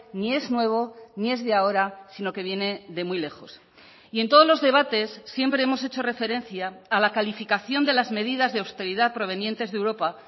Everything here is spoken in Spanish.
ni es nuevo ni es de ahora sino que viene de muy lejos y en todos los debates siempre hemos hecho referencia a la calificación de las medidas de austeridad provenientes de europa